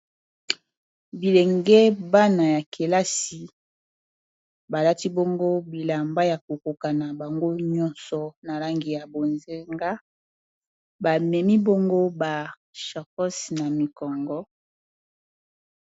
bilenge bana ya kelasi balati bongo bilamba ya kokoka na bango nyonso na langi ya bozenga bamemi bongo ba charkos na mikongo